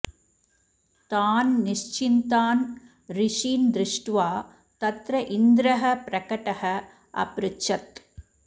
तान् निश्चिन्तान् ऋषीन् दृष्ट्वा तत्र इन्द्रः प्रकटः अपृच्छत्